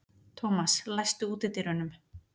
Thomas, læstu útidyrunum.